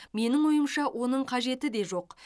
менің ойымша оның қажеті де жоқ